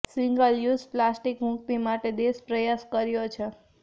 single use plastic મુક્તિ માટે દેશ પ્રયાસ કર્યો છે